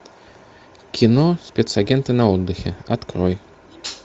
кино спецагенты на отдыхе открой